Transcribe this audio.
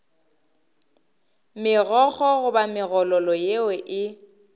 megokgo goba megololo yeo e